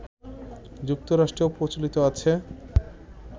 যুক্তরাষ্ট্রেও প্রচলিত আছে